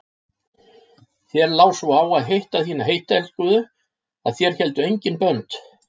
Þér lá svo á að hitta þína heittelskuðu að þér héldu engin bönd.